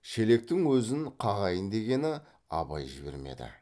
шелектің өзін қағайын дегені абай жібермеді